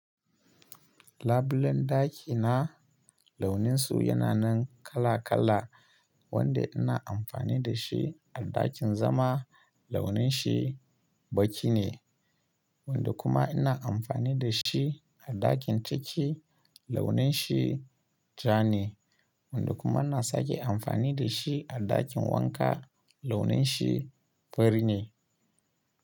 Labulen ɗakina launin su yana nan kala kala, wanda ina amfani da shi a ɗakin zama launin shi baƙi ne, wanda kuma ina amfani da shi a ɗakin ciki launin shi ja ne, wanda kuma ina sake amfani da shi a ɗakin wanka launin shi fari ne.